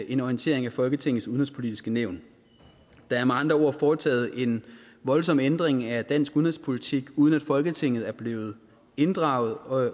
en orientering af folketingets udenrigspolitiske nævn der er med andre ord foretaget en voldsom ændring af dansk udenrigspolitik uden at folketinget er blevet inddraget og